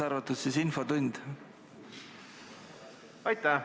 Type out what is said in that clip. Aitäh!